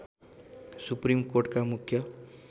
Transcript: supreme कोर्टमा मुख्य